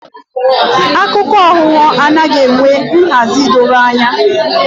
Akụkọ aghụghọ anaghị enwe nhazi dọrọ anya